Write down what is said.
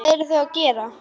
Hvað eru þau að gera?